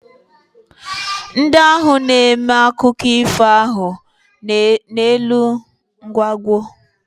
Ndị ahụ na-eme akụkụ ifo ahụ n'elu nkwago.